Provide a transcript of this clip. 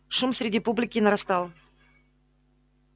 шум среди публики нарастал